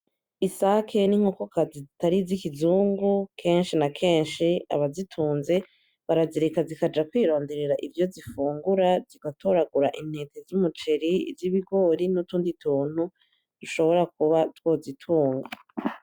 Isake n'inkokokazi zitari iz'ikizungu kenshi na kenshi abazitunze barazireka zikaja kwironderera ivyo zifungura zigatoragura intete z'umuceri, z'ibigori nutundi tuntu ishobora kuba twozitunga.